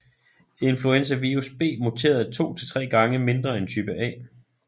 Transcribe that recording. Influenzavirus B muterer 2 til 3 gange mindre end type A